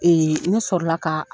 Ne sɔrɔla ka